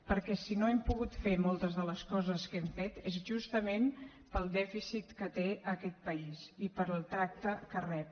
perquè si no hem pogut fer moltes de les coses que hem fet és justament pel dèficit que té aquest país i pel tracte que rep